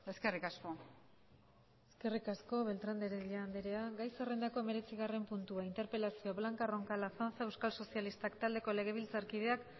eskerrik asko eskerrik asko beltrán de heredia anderea gai zerrendako hemeretzigarren puntua interpelazioa blanca roncal azanza euskal sozialistak taldeko legebiltzarkideak